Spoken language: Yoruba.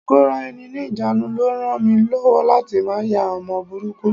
Ikora-eni-nijanu ló ràn mí lọ́wọ́ láti má ya ọmọ burúkú.